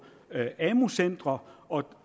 amu centre og